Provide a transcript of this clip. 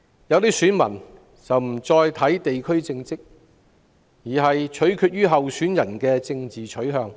有些選民不再考慮地區政績，反而注重候選人的政治取向。